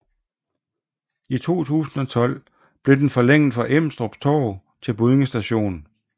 I 2012 blev den forlænget fra Emdrup Torv til Buddinge st